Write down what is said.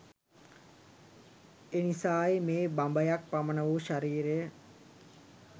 එනිසායි මේ බඹයක් පමණ වූ ශරීරය